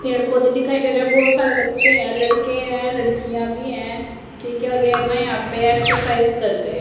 पेड़ पौधे दिखाई दे रहे है बहोत सारे बच्चे लड़के हैं लड़कियां भी है ठीक है यहां पे एक्सरसाइज कर रहे--